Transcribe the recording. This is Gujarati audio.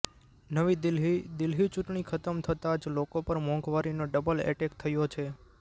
નવી દિલ્હીઃ દિલ્હી ચૂંટણી ખતમ થતા જ લોકો પર મોંઘવારીનો ડબલ એટેક થયો છે